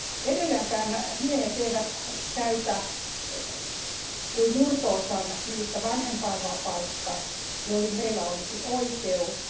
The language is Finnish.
Edelleenkään miehet eivät käytä kuin murto osan niistä vanhempainvapaista, joihin heillä olisi oikeus.